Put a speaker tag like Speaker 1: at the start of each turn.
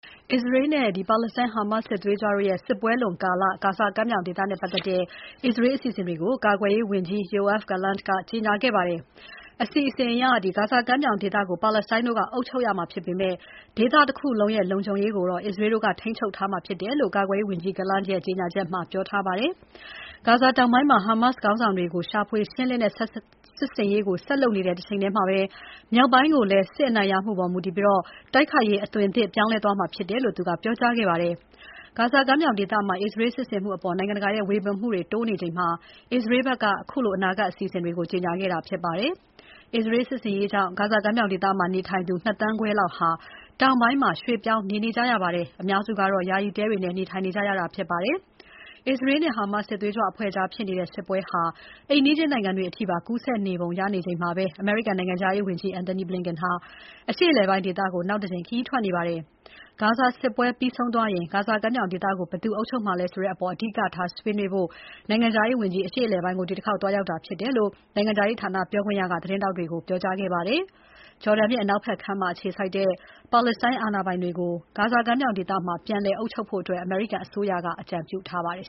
Speaker 1: အစ္စရေးနဲ့ ဟာမတ်စ်စစ်ပွဲလွန်ကာလ ဂါဇာကမ်းမြောင်ဒေသနဲ့ပတ်သက်တဲ့ အစ္စရေးအစီအစဉ်တွေကို ကာကွယ်ရေးဝန်ကြီး Yoav Gallant ကကြေညာခဲ့ပါတယ်။ အစီအစဉ်အရ ဂါဇာကမ်းမြောင်ဒေသကို ပါလက်စတိုင်းတို့က အုပ်ချုပ်ရမှာဖြစ်ပေမဲ့ ဒေသတခုလုံး လုံခြုံရေးကိုတော့ အစ္စရေးတို့က ထိန်းချုပ်ထားမှာြဖစ်တယ်လို့ ကာကွယ်ရေးဝန်ကြီး Gallant ရဲ့ ကြေညာချက်မှာ ပြောထားပါတယ်။ ဂါဇာတောင်ပိုင်းမှာ ဟာမတ်စ်ခေါင်းဆောင်တွေကို ရှာဖွေရှင်းလင်းတဲ့စစ်ဆင်ရေးကို ဆက်လုပ်နေတဲ့တချိန်ထဲမှာ မြောက်ပိုင်းကိုလည်း စစ်အနိုင်ရမှုအပေါ်မူတည်ပြီး တိုက်ခိုက်ရေး အသွင်သစ်ပြောင်းလဲသွားမှာဖြစ်တယ်လို့ သူကပြောကြားခဲ့ပါတယ်။ ဂါဇာကမ်းမြောင်ဒေသမှာ အစ္စရေးစစ်ဆင်မှုအပေါ် နိုင်ငံတကာရဲ့ ဝေဖန်မှုတွေ တိုးနေချိန်မှာ အစ္စရေးဘက်က ခုလို အနာဂါတ်အစီအစဉ်တွေကို ကြေညာခဲ့တာဖြစ်ပါတယ်။ အစ္စရေးစစ်ဆင်ရေးကြောင့် ဂါဇာကမ်းမြောင်ဒေသမှာ နေထိုင်နေကြသူ ၂ သန်းခွဲလောက်ဟာ တောင်ပိုင်းမှာ ရွှေ့ပြောင်းနေနေကြရပါတယ်။ အများစုဟာ ယာယီတဲတွေနဲ့ နေထိုင်နေကြရပါတယ်။ အစ္စရေးနဲ့ ဟာမတ်စ်စစ်သွေးကြွအဖွဲ့ကြားဖြစ်နေတဲ့ စစ်ပွဲဟာ အိမ်နီးချင်းနိုင်ငံတွေအထိပါ ကူးစက်နေပုံရနေချိန်မှာပဲ အမေရိကန်နိုင်ငံခြားရေးဝန်ကြီး Antony Blinken ဟာ အရှေ့အလယ်ပိုင်းဒေသကို နောက်တကြိမ်ခရီးထွက်နေပါတယ်။ ဂါဇာစစ်ပွဲပြီးဆုံးသွားရင် ဂါဇာကမ်းမြောင်ဒေသကို ဘယ်သူအုပ်ချုပ်မှာလည်းဆိုတဲ့အပေါ် အဓိကထားဆွေးနွေးဖို့ နိုင်ငံခြားရေးဝန်ကြီး အရှေ့အလယ်ပိုင်းကို ဒီတခေါက် သွားရောက်တာဖြစ်တယ်လို့ နိုင်ငံခြားရေးဌာနက ပြောခွင့်ရက သတင်းထောက်တွေကို ပြောကြားခဲ့ပါတယ်။ ဂျော်ဒန်မြစ်အနောက်ဖက်ကမ်းမှာ အခြေစိုက်နေတဲ့ ပါလက်စတိုင်းအာဏာပိုင်တွေကို ဂါဇာကမ်းမြောင်ဒေသမှာ ပြန်လည်အုပ်ချုပ်ဖို့ အမေရိကန်အစိုးရက အကြံပြုထားပါတယ်